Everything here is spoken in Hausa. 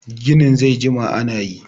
gini zai jima ana yi!